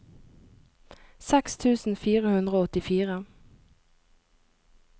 seks tusen fire hundre og åttifire